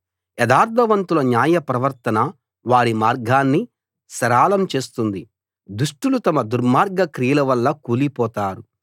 యథార్థవంతుల న్యాయ ప్రవర్తన వారి మార్గాన్ని సరళం చేస్తుంది దుష్టులు తమ దుర్మార్గ క్రియలవల్ల కూలిపోతారు